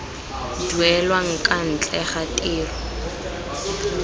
duelang kwa ntle ga tiro